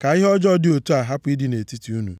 ka ihe ọjọọ dị otu a hapụ ịdị nʼetiti unu.